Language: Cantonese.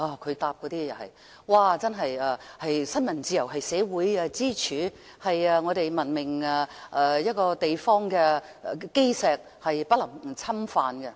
他當時的答覆指新聞自由是社會支柱，是文明地方的基石，是不能侵犯的。